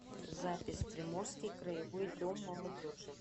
запись приморский краевой дом молодежи